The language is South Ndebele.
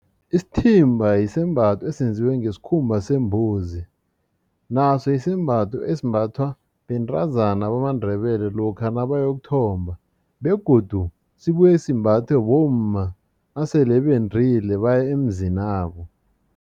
Isithimba sisembatho esenziwe ngesikhumba sembuzi naso sisembatho esimbathwa bentazana bamaNdebele lokha nabayokuthomba begodu sibuye simbathwe bomma asele bendile baye emizinabo.